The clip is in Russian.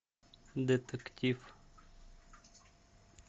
детектив